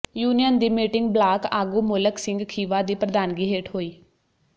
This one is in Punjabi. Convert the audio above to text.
ਯੂਨੀਅਨ ਦੀ ਮੀਟਿੰਗ ਬਲਾਕ ਆਗੂ ਮੋਲਕ ਸਿੰਘ ਖੀਵਾ ਦੀ ਪ੍ਰਧਾਨਗੀ ਹੇਠ ਹੋਈ